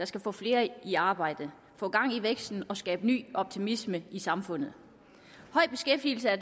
skal få flere i arbejde få gang i væksten og skabe ny optimisme i samfundet høj beskæftigelse er